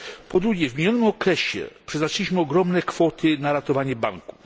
Po drugie, w minionym okresie przeznaczyliśmy ogromne kwoty na ratowanie banków.